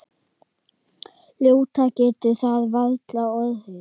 Ljótara getur það varla orðið.